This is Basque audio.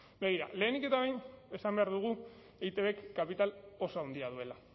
begira lehenik eta behin esan behar dugu eitbk kapital oso handia duela